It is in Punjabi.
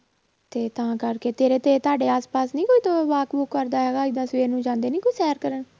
ਤੇ ਤਾਂ ਕਰਕੇ ਤੇਰੇ ਤੇ ਤੁਹਾਡੇ ਆਸ ਪਾਸ ਨੀ ਕੋਈ walk ਵੂਕ ਕਰਦਾ ਹੈਗਾ ਏਦਾਂ ਸਵੇਰ ਨੂੰ ਜਾਂਦੇ ਨੀ ਕੋਈ ਸ਼ੈਰ ਕਰਨ